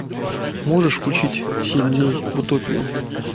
можешь включить семь дней в утопии